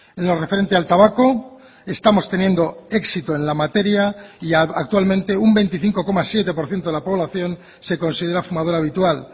en lo referente al tabaco estamos teniendo éxito en la materia y actualmente un veinticinco coma siete por ciento de la población se considera fumadora habitual